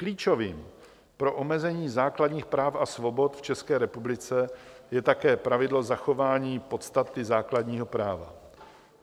Klíčovým pro omezení základních práv a svobod v České republice je také pravidlo zachování podstaty základního práva.